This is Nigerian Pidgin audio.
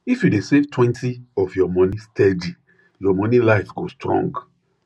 if you dey savetwentyof your money steady your money life go strong